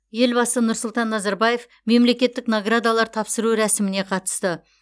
елбасы нұрсұлтан назарбаев мемлекеттік наградалар тапсыру рәсіміне қатысты